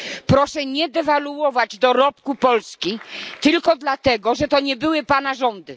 Proszę nie dewaluować dorobku Polski, tylko dlatego, że to nie były Pana rządy.